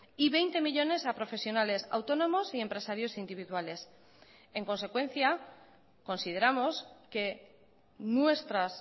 y veinte millónes a profesionales autónomos y empresarios individuales en consecuencia consideramos que nuestras